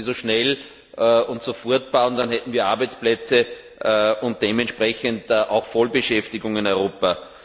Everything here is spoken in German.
Man sollte sie so schnell wie möglich bauen, dann hätten wir Arbeitsplätze und dementsprechend auch Vollbeschäftigung in Europa.